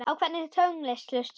Á hvernig tónlist hlustar þú?